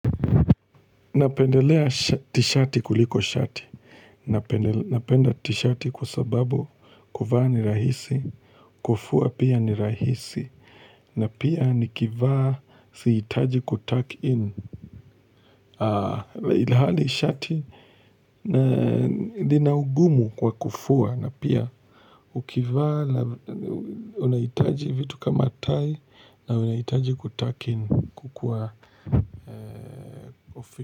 Napendelea tishati kuliko shati. Napendelea tishati kwa sababu kuvaa ni rahisi. Kufua pia ni rahisi. Na pia nikivaa sihitaji kutak in. Haa, ilhali shati nina ungumu kwa kufua na pia ukivaa unahitaji vitu kama tai na unahitaji kutak in kukua.